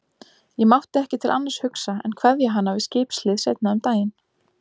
Ég mátti ekki til annars hugsa en kveðja hana við skipshlið seinna um daginn.